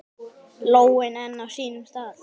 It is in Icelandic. Lóin enn á sínum stað.